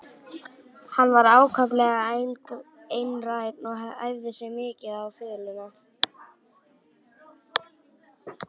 Hann var ákaflega einrænn og æfði sig mikið á fiðluna.